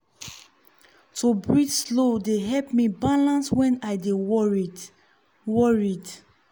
to breathe slow dey help me balance when i dey worried. worried.